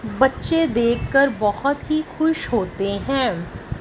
बच्चे देख कर बहुत ही खुश होते हैं।